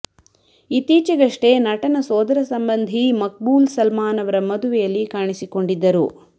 ಇತ್ತೀಚೆಗಷ್ಟೇ ನಟನ ಸೋದರ ಸಂಬಂಧಿ ಮಕ್ಬೂಲ್ ಸಲ್ಮಾನ್ ಅವರ ಮದುವೆಯಲ್ಲಿ ಕಾಣಿಸಿಕೊಂಡಿದ್ದರು